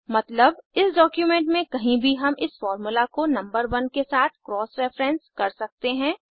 मतलब इस डॉक्यूमेंट में कहीं भी हम इस फार्मूला को नंबर 1 के साथ क्रॉस रेफेरेंस कर सकते हैं